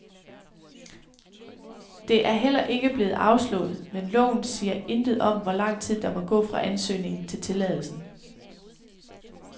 Det er heller ikke blevet afslået, men loven siger intet om, hvor lang tid der må gå fra ansøgningen til tilladelsen.